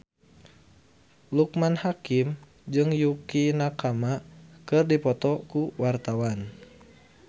Loekman Hakim jeung Yukie Nakama keur dipoto ku wartawan